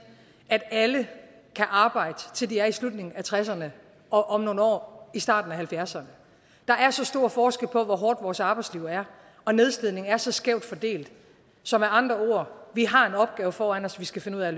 at alle kan arbejde til de er i slutningen af tresserne og om nogle år i starten af halvfjerdserne der er så stor forskel på hvor hårdt vores arbejdsliv er og nedslidning er så skævt fordelt så med andre ord vi har en opgave foran os vi skal finde ud af